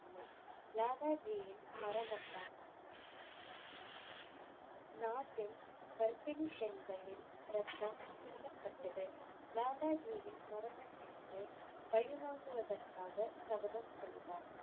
லாலா ஜியின் மரணத்தால் நாட்டின் கர்ப்பிணி பெண்களின் ரத்தம் சிந்தப்பட்டது. லாலா ஜியின் மரணத்திற்கு பழிவாங்குவதற்காகச் சபதம் செய்தார்.